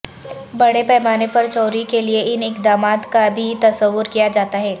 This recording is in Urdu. بڑے پیمانے پر چوری کیلئے ان اقدامات کا بھی تصور کیا جاتا ہے